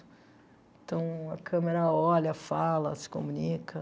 Então, a câmera olha, fala, se comunica.